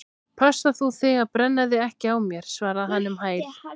Passa þú þig að brenna þig ekki á mér- svaraði hann um hæl.